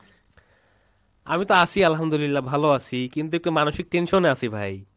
আমি তো আছি আলহামদুল্লিয়াহ ভালো আছি, কিন্তু একটু মানসিক tension এ আছি ভাই।